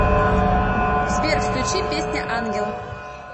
сбер включи песня ангел